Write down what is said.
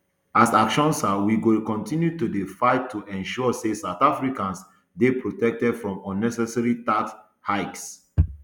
as actionsa we go kontinue to dey fight to ensure say south africans dey protected from unnecessary tax hikes